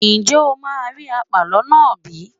Ǹjẹ́ o máa rí àpàlọ́ náà bí?